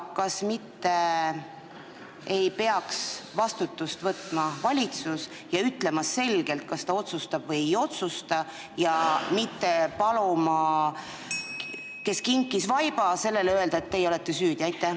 Kas mitte valitsus ei peaks vastutust võtma ja ütlema selgelt, kas ta otsustab või ei otsusta, mitte ütlema sellele, kes kinkis vaiba, et teie olete süüdi?